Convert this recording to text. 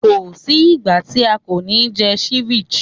Ko sí ìgbà tí a kò ní jẹ ceviche.